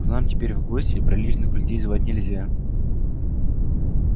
к нам теперь в гости приличных людей звать нельзя